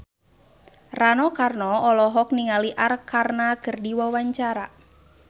Rano Karno olohok ningali Arkarna keur diwawancara